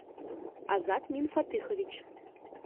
азат минфатыхович